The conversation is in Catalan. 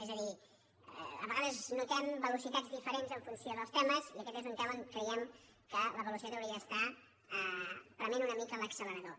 és a dir a vegades notem velocitats diferents en funció dels temes i aquest és un tema on creiem que la velocitat hauria d’estar prement una mica l’accelerador